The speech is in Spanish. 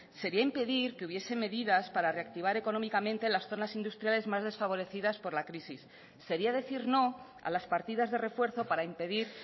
sería impedir que hubiese medidas para reactivar económicamente las zonas industriales más desfavorecidas por la crisis sería decir no a las partidas de refuerzo para impedir